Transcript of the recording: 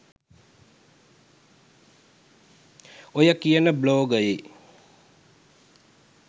ඔය කියන බ්ලොගයේ